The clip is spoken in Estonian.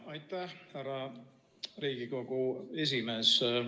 Aitäh, härra Riigikogu esimees!